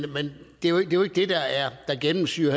det er jo ikke det der gennemsyrer